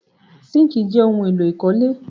Síńkì jẹ́ ohun-èlò ìkọ́lé.